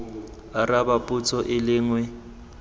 araba potso e le nngwe